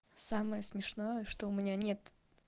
самое смешное что у меня нет